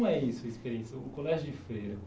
é isso a experiência. O colégio de freira.